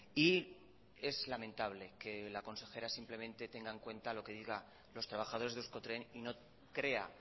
y es lamentable que la consejera simplemente tenga en cuenta lo que digan los trabajadores de euskotren y no crea